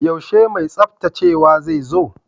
Yaushe mai tsaftacewa zai zo?